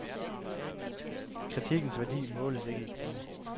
Kritikkens værdi måles ikke i kroner.